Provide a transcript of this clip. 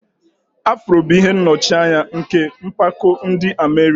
Afro bụ ihe nnọchianya nke mpako ndị Amerik